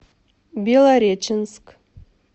белореченск